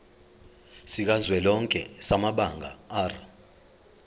sikazwelonke samabanga r